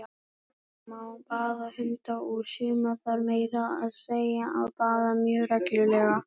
Já, það má baða hunda, og suma þarf meira að segja að baða mjög reglulega!